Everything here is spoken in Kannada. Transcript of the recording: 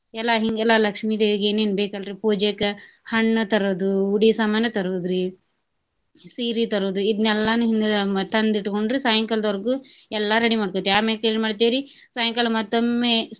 ಎಲ್ಲಾ ಹಿಂಗೆಲ್ಲಾ ಲಕ್ಷ್ಮೀ ದೇವಿಗೆ ಏನೇನ್ ಬೇಕ ಅಲ್ರೀ ಪೂಜೆಕ ಹಣ್ಣ ತರೋದು, ಉಡಿ ಸಾಮಾನ ತರೋದ್ರಿ, ಸೀರಿ ತರೋದ್ರಿ ಇದ್ನೇಲ್ಲಾನು ಹಿಂದಿಲ್ ದಿನಾನ ತಂದ ಇಟ್ಕೊಂಡ್ರಿ ಸಾಯಂಕಾಲದೊರ್ಗು ಎಲ್ಲಾ ready ಮಾಡ್ಕೊತೇವ್ರಿ ಆಮ್ಯಾಕ್ ಏನ ಮಾಡ್ತೇವ್ರಿ ಸಾಯಂಕಾಲ ಮತ್ತೊಮ್ಮೆ.